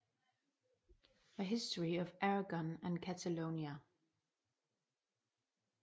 A History of Aragon and Catalonia